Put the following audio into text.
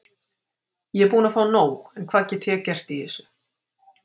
Ég er búinn að fá nóg en hvað get ég gert í þessu?